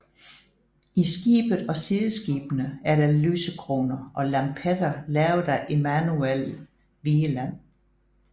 I skibet og sideskibene er der lysekroner og lampetter lavet af Emanuel Vigeland